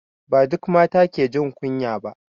Ba duka mata ke jin kunya ba